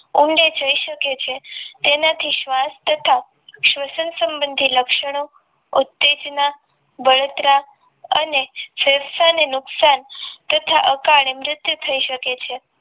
ઊંડે જઈ શકે છે તેનાથી સ્વાસ્થ્ય તથા શ્વસન સંબંધી લક્ષણો ઉત્તેજના બળતરા અને ફેફસાને નુકસાન તથા અકાળે મૃત્યુ થઈ શકે છે